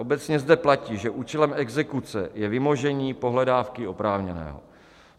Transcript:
Obecně zde platí, že účelem exekuce je vymožení pohledávky oprávněného.